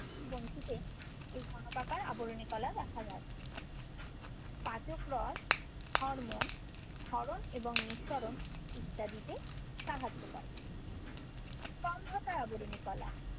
পাচক গ্রন্থিতে এই ঘনকাকার আবরণী কলা দেখা যায়। পাচক রস, হরমোন, ক্ষরণ এবং নিঃসরণ ইত্যাদিতে সাহায্য করে। স্তম্ভাকার আবরণী কলা।